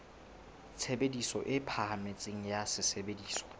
tshebediso e phahameng ya sesebediswa